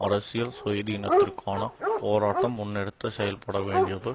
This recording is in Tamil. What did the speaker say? அரசியல் சுயாதீனத்திற்கான போராட்டம் முன்னெடுத்து செல்லப்பட வேண்டியது